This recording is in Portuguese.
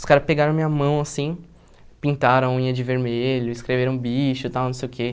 Os caras pegaram a minha mão, assim, pintaram a unha de vermelho, escreveram bicho e tal, não sei o quê.